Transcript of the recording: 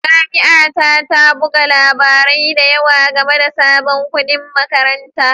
Jami'a ta ta buga labarai da yawa game da sabon kuɗin makaranta